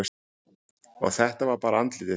Og þetta var bara andlitið.